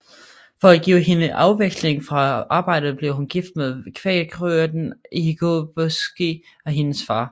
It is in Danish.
For at give hende afveksling fra arbejdet blev hun gift med kvæghyrden Hikoboski af hendes far